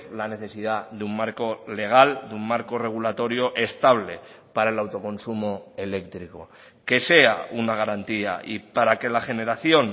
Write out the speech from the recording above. la necesidad de un marco legal de un marco regulatorio estable para el autoconsumo eléctrico que sea una garantía y para que la generación